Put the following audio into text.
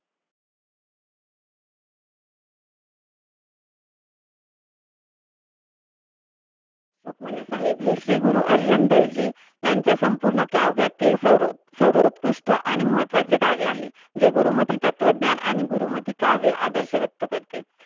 रुक्मिणीहेब हे श्री गुरु अर्जुन देव जी ह्यांच्या संपूर्ण काव्यातील सर्वोतकृष्ठ आणि महत्वाचे कार्य आहे जे गुरुमती तत्वांध्यान आणि गुरुमती काव्य आदर्श व्यक्त करते.